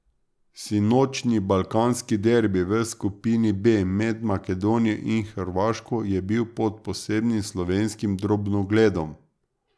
Sinočnji balkanski derbi v skupini B med Makedonijo in Hrvaško je bil pod posebnim slovenskim drobnogledom.